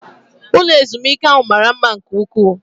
Ụlọ ezumike ahụ mara mma nke ụkwụ